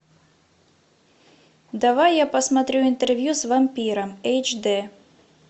давай я посмотрю интервью с вампиром эйч дэ